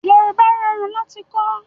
Yorùbá rọrùn láti kọ́